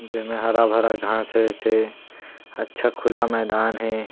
जेमे हरा-भरा घास हे थे अच्छा खुला मैदान हे।